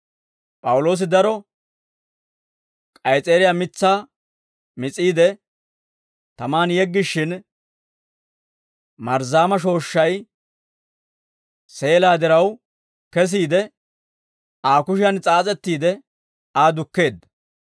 P'awuloosi daro k'ays's'eeriyaa mitsaa mis'iide tamaan yeggishshin, marzzaama shooshshay seelaa diraw kesiide, Aa kushiyan s'aas'ettiide, Aa dukkeedda.